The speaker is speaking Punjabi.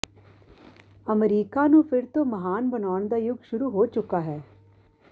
ਅਮਰੀਕਾ ਨੂੰ ਫਿਰ ਤੋਂ ਮਹਾਨ ਬਣਾਉਣ ਦਾ ਯੁੱਗ ਸ਼ੁਰੂ ਹੋ ਚੁੱਕਾ ਹੈ